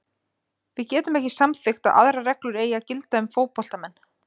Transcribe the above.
Við getum ekki samþykkt að aðrar reglur eigi að gilda um fótboltamenn.